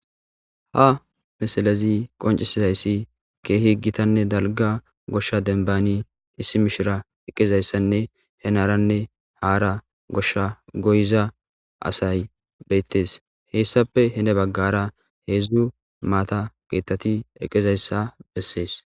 Ha misilezii qonccisizayssi keehi giittanne dalgga gidida gooshsha bessan mishira eqqizaysanne heenarnne hara gooshsha goyiza asay bettes hassappe heeni baggara hedzdzu maata keettatti eqqidayssa beses